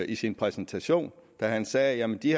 i sin præsentation da han sagde at de